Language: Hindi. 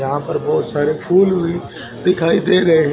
यहां पर बहुत सारे फूल भी दिखाई दे रहे है।